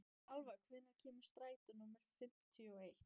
Alfa, hvenær kemur strætó númer fimmtíu og eitt?